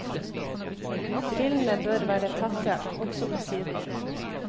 Brillene bør være tette, også på sidene.